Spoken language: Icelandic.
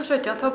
sautján